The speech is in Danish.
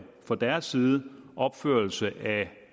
fra deres side opførelse af